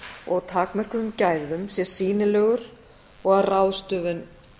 og takmörkuðum gæðum sé sýnilegur og að ráðstöfun